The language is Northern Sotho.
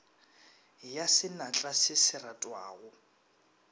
ya senatla se se retwago